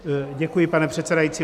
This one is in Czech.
Děkuji, pane předsedající.